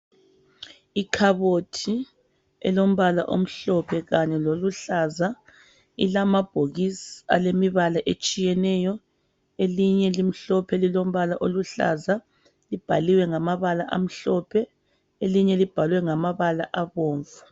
Ikhabothi elombala omhlophe kanye loluhlaza ilamabhokisi alemibala etshiyeneyo elinye limhlophe lilombala oluhlaza libhaliwe ngamabala amhlophe elinye libhaliwe ngabala abomvu.